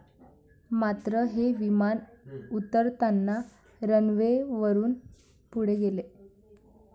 मात्र, हे विमान उतरताना रनवेवरून पुढे गेले.